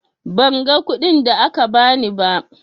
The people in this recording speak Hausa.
Ban ga kuɗin da aka ba ni ba.